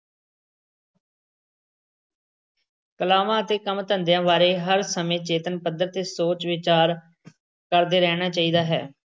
ਕਲਾਵਾਂ ਅਤੇ ਕੰਮ-ਧੰਦਿਆਂ ਬਾਰੇ ਹਰ ਸਮੇਂ ਚੇਤਨ ਪੱਧਰ ਤੇ ਸੋਚ-ਵਿਚਾਰ ਕਰਦੇ ਰਹਿਣਾ ਚਾਹੀਦਾ ਹੈ।